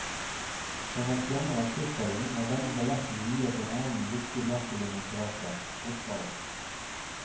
Som man skjønner av tittelen er denne balletten viet en annen viktig maskulin interesse, fotballen.